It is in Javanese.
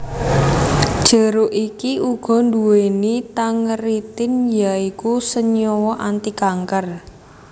Jeruk iki uga nduweni tangeritin ya iku senyawa antikanker